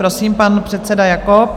Prosím, pan předseda Jakob.